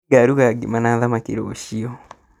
Nĩngaruga ngima na thamaki rũciũ